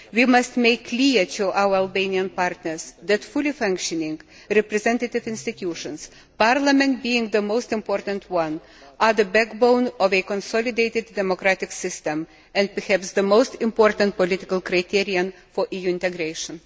We must make clear to our Albanian partners that fully functioning representative institutions parliament being the most important one are the backbone of a consolidated democratic system and perhaps the most important political criterion for EU integration.